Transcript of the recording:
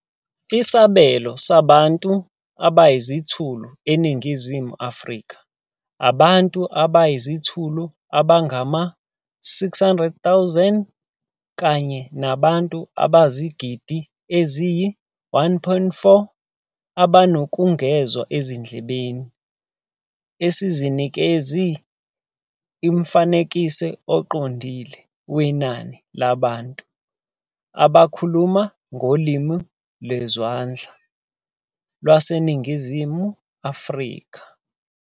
Isibalo sabantu abayizithulu eNingizimu Afrika, abantu abayizithulu abangama-600,000 kanye nabantu abayizigidi eziyi-1.4 abanokungezwa ezindlebeni, asinikezi umfanekiso oqondile wenani labantu abakhuluma ngoLimi Lwezandla LwaseNingizimu Afrika.